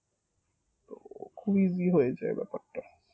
খুব easy এই ব্যাপারটা